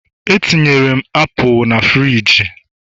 Etinyere m apụl na frigi